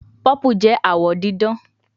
Purple jẹ awọ didan